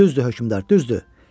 Düzdür, hökmdar, düzdür.